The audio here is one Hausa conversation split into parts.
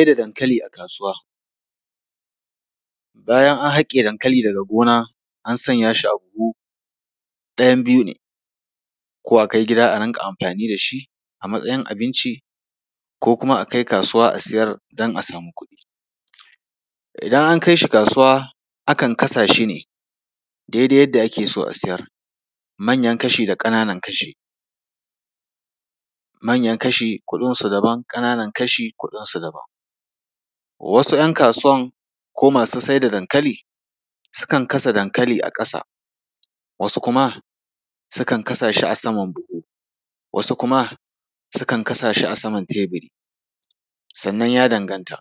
Sai da dankali a kasuwa. Bayan an haƙe dankali daga gona, an sanya shi a buhu, ɗayan biyu ne, ko a kai gida a rinƙa amfani da shi a matsayin abinci, ko kuma a kai kasuwa a sayar don a samu kuɗi. Idan an kai shi kasuwa, akan kasa shi ne daidai yadda ake so a sayar, manyan kashi da ƙananan kashi. Manyan kashi kuɗinsu daban, ƙananan kashi kuɗinsu daban. Wasu ‘yan kasuwan ko masu sai da dankali, sukan kasa dankali a ƙasa, wasu kuma sukan kasa shi a saman buhu, wasu kuma sukan kasa shi a kan teburi. Sannan ya danganta,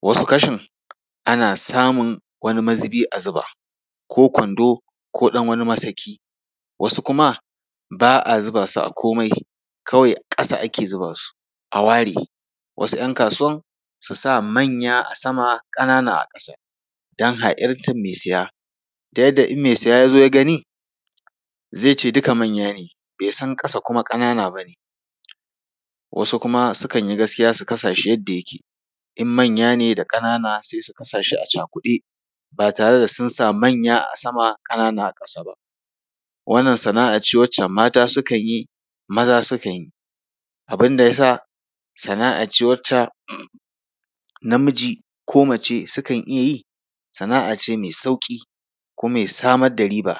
wasu kashin, ana samun wani mazubi a zuba, ko kwando ko ɗan wani masaki. Wasu kuma ba a zuba su a komai, kawai ƙasa ake zuba su, a ware. Wasu ‘yan kasuwan, su sa manya a sama, ƙananan a ƙasa, don ha’intar mai saya, ta yadda in mai saya ya zo ya gani, zai ce dukka manya ne, bai san kuma ƙasa ƙanana ba ne. wasu kuma sukan yi gaskiya su kasa shi yadda yake, in manya da ƙanana sai su kasa shi a cakuɗe, ba tare da sun sa manya a sama, ƙanana a ƙasa ba. Wannan sana’a ce wadda mata sukan yi, maza sukan yi. Abin da ya sa sana’a ce wacce namiji ko mace sukan iya yi. Sana’a ce mai sauƙi kuma mai samar da riba.